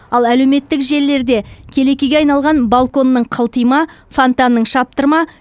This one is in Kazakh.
ал әлеуметтік желілерде келекеге айналған балконның қылтима фонтанның шаптырма